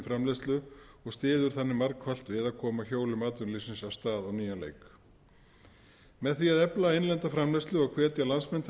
framleiðslu og styður þannig margfalt við að koma hjólum atvinnulífsins af stað á nýjan leik með því að efla innlenda framleiðslu og hvetja landsmenn til